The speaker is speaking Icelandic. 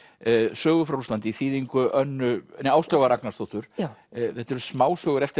sögur frá Rússlandi í þýðingu Áslaugar Ragnarsdóttur þetta eru smásögur eftir